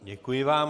Děkuji vám.